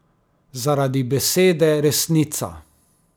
Zaradi besede resnica.